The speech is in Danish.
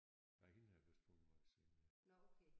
Nej hende har jeg vist fundet noget senere